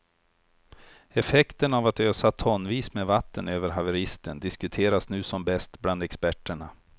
Effekten av att ösa tonvis med vatten över haveristen diskuteras nu som bäst bland experterna.